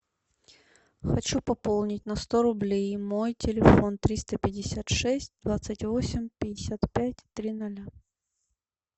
хочу пополнить на сто рублей мой телефон триста пятьдесят шесть двадцать восемь пятьдесят пять три ноля